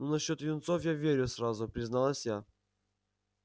ну насчёт юнцов я верю сразу призналась я